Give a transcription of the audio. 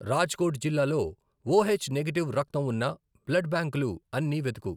రాజ్కోట్ జిల్లాలో O H negative రక్తం ఉన్న బ్లడ్ బ్యాంకులు అన్నీ వెతుకు.